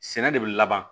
Sɛnɛ de bɛ laban